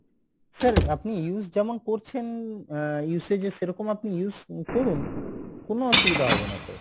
sir আপনি use যেমন করছেন আহ usage সেরকম আপনি use করুন, কোনো অসুবিধা হবে না sir।